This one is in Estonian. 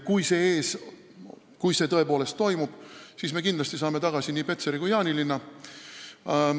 Kui see tõepoolest toimub, siis me kindlasti saame tagasi nii Petseri kui ka Jaanilinna.